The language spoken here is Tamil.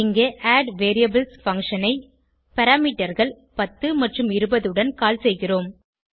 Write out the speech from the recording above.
இங்கே அட்வேரியபிள்ஸ் பங்ஷன் ஐ parameterகள் 10 மற்றும் 20 உடன் கால் செய்கிறோம்